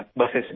بسوں میں